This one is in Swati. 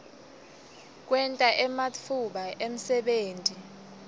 kwenta ematfuba emsebenti